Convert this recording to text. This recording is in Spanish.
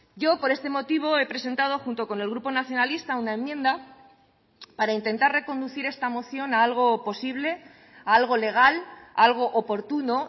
yo por este motivo he presentado junto con el grupo nacionalista una enmienda para intentar reconducir esta moción a algo posible a algo legal a algo oportuno